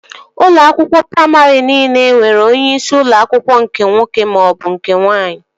Ụlọ akwụkwọ praimarị niile nwere onyeisi ụlọ akwụkwọ nke nwoke maọbụ nke nwaanyị